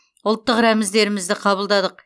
ұлттық рәміздерімізді қабылдадық